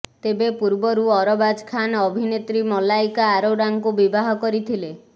ତେବେ ପୂର୍ବରୁ ଅରବାଜ ଖାନ୍ ଅଭିନେତ୍ରୀ ମଲାଇକା ଆରୋରାଙ୍କୁ ବିବାହ କରିଥିଲେ